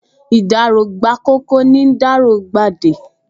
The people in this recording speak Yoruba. Ìdáró gbà ’kòkò, nì ’dáró gba ’dẹ